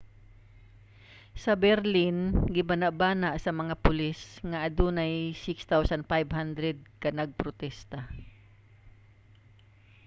sa berlin gibanabana sa mga pulis nga adunay 6,500 ka nagprotesta